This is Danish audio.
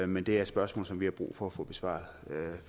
men det er spørgsmål som vi har brug for at få besvaret